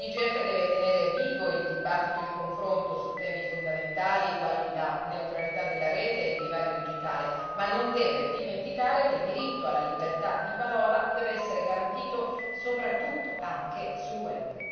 L'IGF deve tenere vivo il dibattito e il confronto su temi fondamentali, quali la neutralità della rete e il divario digitale, ma non deve dimenticare che il diritto alla libertà di parola deve essere garantito soprattutto anche sul web.